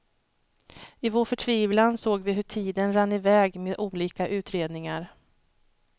I vår förtvivlan såg vi hur tiden rann i väg med olika utredningar.